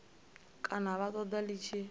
kana vha ṱoḓa ḽi tshi